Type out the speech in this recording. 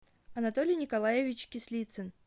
анатолий николаевич кислицын